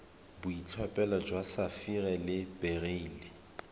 boitlhophelo jwa sapphire le beryl